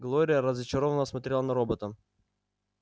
глория разочарованно смотрела на робота